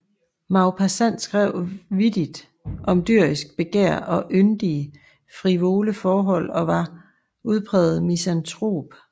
Maupassant skrev vittigt om dyrisk begær og yndige frivole forhold og var udpræget misantrop